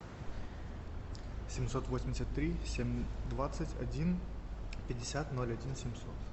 семьсот восемьдесят три семь двадцать один пятьдесят ноль один семьсот